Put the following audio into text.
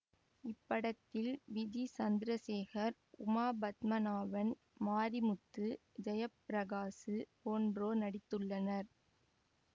இப்படத்தில் விஜி சந்தரசேகர் உமா பத்மநாபன் மாரிமுத்து ஜெயப்பிரகாசு போன்றோர் நடித்துள்ளனர்